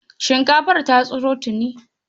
Shinkafar ta tsiro tuni.